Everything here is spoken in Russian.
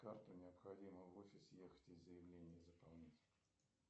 картой необходимо в офис ехать и заявление заполнять